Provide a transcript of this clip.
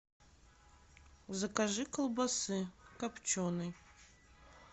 закажи колбасы копченой